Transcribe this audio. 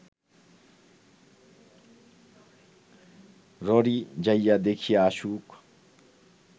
ররী যাইয়া দেখিয়া আসুক